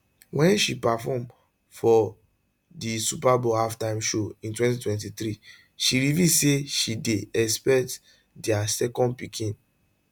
wen she perform for di super bowl halftime show in 2023 she reveal say she dey expect dia second pikin